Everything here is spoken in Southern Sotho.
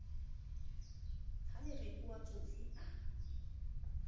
ha lereko wa tsotsi a